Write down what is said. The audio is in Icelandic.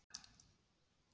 Aldur miðast við fæðingarár